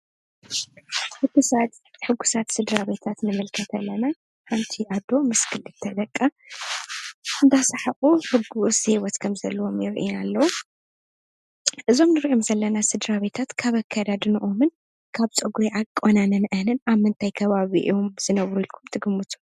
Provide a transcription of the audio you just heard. ሕጉሳት ስድራ ቤታት ንምልከት ኣለና፡፡ ኣዶ ምስ ክልተ ደቃ እናዳሳሓቑ ሕጉስ ሂወት ከምዘለዎም የሪኡና ኣለዉ፡፡ እዞም ንሪኦም ዘለና ስድራቤታት ካብ ኣካዳድነኦምን ካብ ፀጉሪ ኣቆናንነአንን ኣብ ምንታይ ከባቢ እዮም ዝነብሩ ኢልኩም ትግምቱ?